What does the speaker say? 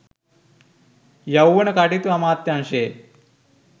යෞවන කටයුතු අමාත්‍යාංශයේ